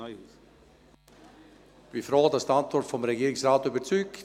Ich bin froh, dass die Antwort des Regierungsrates überzeugt: